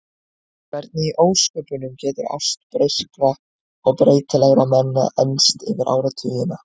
Hvernig í ósköpunum getur ást breyskra og breytilegra manna enst yfir áratugina?